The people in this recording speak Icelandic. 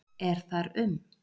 Er þar um